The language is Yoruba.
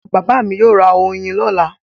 Bàbá mi yóò ra oyin lọ́la.